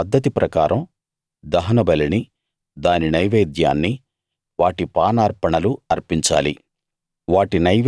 వాటి వాటి పద్ధతి ప్రకారం దహనబలిని దాని నైవేద్యాన్ని వాటి పానార్పణలు అర్పించాలి